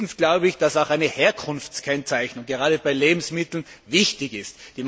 Drittens glaube ich, dass eine Herkunftskennzeichnung, gerade bei Lebensmitteln, wichtig ist.